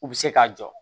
U bɛ se k'a jɔ